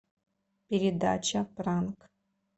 передача пранк